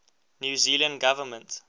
new zealand government